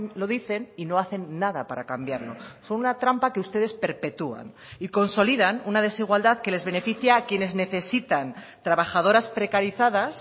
lo dicen y no hacen nada para cambiarlo son una trampa que ustedes perpetuán y consolidan una desigualdad que les beneficia a quienes necesitan trabajadoras precarizadas